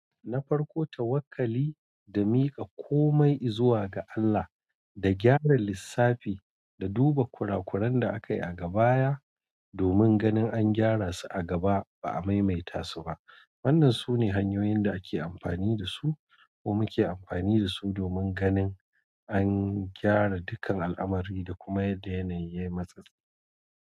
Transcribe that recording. Na farko, tawakkali da miƙa komai izuwa ga Allah, da gyara lissafi da duba kurakuran da aka yi a gabaya domin ganin an gyara su a gaba ba a maimaita su ba. Wannan sune hanyoyin da ake amfani da su ko muke amfani da su domin ganin an gyara dukkan al'amari da kuma ya yanayi yayi matsatsi.